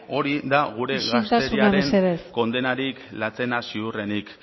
hori da gure gazteriaren isiltasuna mesedez kondenarik latzena ziurrenik